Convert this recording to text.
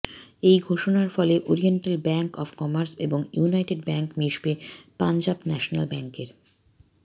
এই ঘোষণার ফলে ওরিয়েন্টাল ব্যাঙ্ক অব কমার্স এবং ইউনাইটেড ব্যাঙ্ক মিশবে পঞ্জাব ন্যাশনাল ব্যাঙ্কের